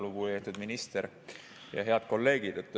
Lugupeetud minister ja head kolleegid!